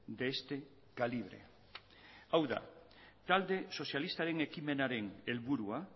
de este calibre hau da talde sozialistaren ekimenaren helburua